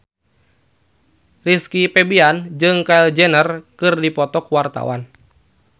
Rizky Febian jeung Kylie Jenner keur dipoto ku wartawan